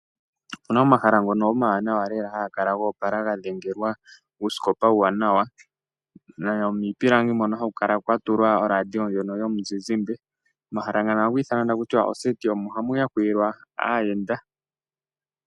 Opena ngono omawanawa lela haga kala go opala ga dhengelwa uusikopa, uuwanawa ,nuupilangi hono haku kala kwa tulwa oradio yomuzizimba. Omahala ngano ohaga ithanwa takutiwa oseti ,omo hamu yakulilwa aayenda.